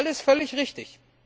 Alles völlig richtig.